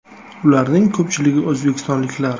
Ularning ko‘pchiligi o‘zbekistonliklar.